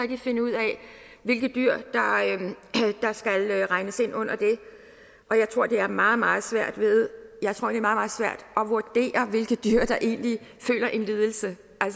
kan finde ud af hvilke dyr der skal regnes ind under det og jeg tror det er meget meget svært at vurdere hvilke dyr der egentlig føler en lidelse